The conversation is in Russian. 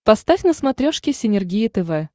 поставь на смотрешке синергия тв